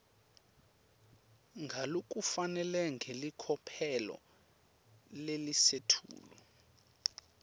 ngalokufanele ngelicophelo lelisetulu